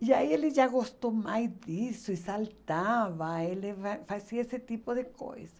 E aí ele já gostou mais disso e saltava, ele faz fazia esse tipo de coisa.